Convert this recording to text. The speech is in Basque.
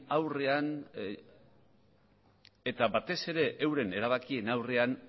aurrean eta batez ere euren erabakien aurrean